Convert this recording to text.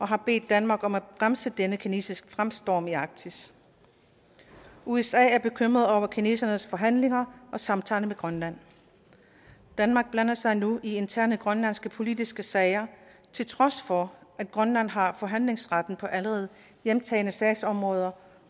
har bedt danmark om at bremse denne kinesiske fremstormen i arktis usa er bekymret over kinesernes forhandlinger og samtaler med grønland danmark blander sig nu i interne grønlandske politiske sager til trods for at grønland har forhandlingsretten på allerede hjemtagne sagsområder